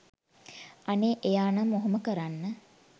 අනේ එයානම් ඔහොම කරන්න